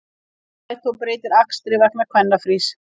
Strætó breytir akstri vegna kvennafrís